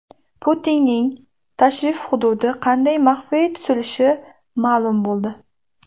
Putinning tashrif hududi qanday maxfiy tutilishi ma’lum bo‘ldi.